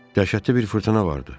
Dəhşətli bir fırtına vardı.